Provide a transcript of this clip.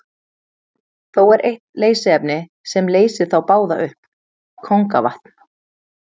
Þó er eitt leysiefni sem leysir þá báða upp, kóngavatn.